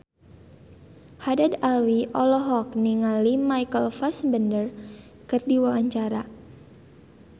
Haddad Alwi olohok ningali Michael Fassbender keur diwawancara